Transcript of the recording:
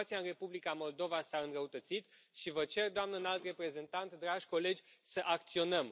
Situația în Republica Moldova s a înrăutățit și vă cer Doamnă Înalt Reprezentant, dragi colegi, să acționăm.